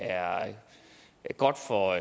er godt for